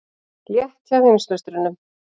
Létt hjá heimsmeisturunum